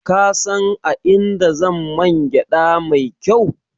Ka san a inda zan man gyaɗa mai kyau?